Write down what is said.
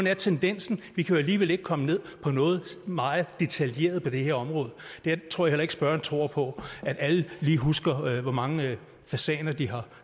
er tendensen vi kan jo alligevel ikke komme ned på noget meget detaljeret på det her område jeg tror heller ikke spørgeren tror på at alle lige husker hvor mange fasaner de har